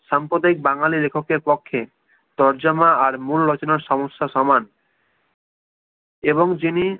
সাম্পদায়িক বাঙালি লেখকের পক্ষে তর্জমা আর মূল রচনার সমস্যা সমান এবং যিনি